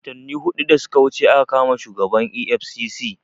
Watanni hudu da suka wuce aka kama shugaban EFCC